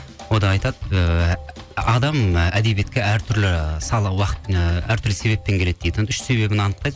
онда айтады ыыы адам і әдебиетке ы әртүрлі себеппен келеді дейді үш себебін анықтайды